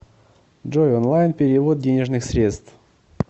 джой онлайн перевод денежных средств